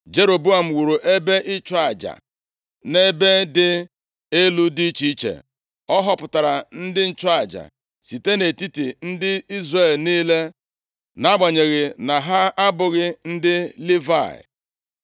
Jeroboam wuru ebe ịchụ aja nʼebe dị elu dị iche iche. Ọ họpụtara ndị nchụaja site nʼetiti ndị Izrel niile, + 12:31 Mgbe ndị nchụaja gbapụrụ ọsọ site na Jerusalem, nʼihi ize ndụ site nʼaka Jeroboam, ọ họpụtara ndị nchụaja site nʼetiti ndị Izrel niile, nʼagbanyeghị na ndị a abụghị ndị Livayị. \+xt 2Ih 11:13-17\+xt* nʼagbanyeghị na ha abụghị ndị Livayị.